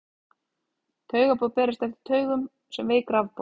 Taugaboð berast eftir taugum sem veik rafboð.